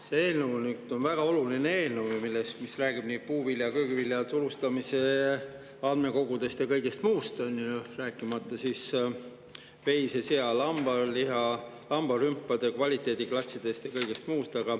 See eelnõu on väga oluline eelnõu, mis räägib puuviljade ja köögiviljade turustamise andmekogudest ja kõigest muust, on ju, rääkimata siis veise‑, sea‑ ja lambaliha, lambarümpade kvaliteediklassidest.